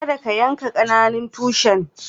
Kadda ka yanka ƙananan tushin!